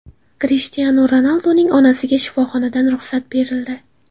Krishtianu Ronalduning onasiga shifoxonadan ruxsat berildi.